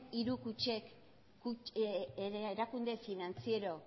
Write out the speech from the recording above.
hiru kutxek erakunde finantziero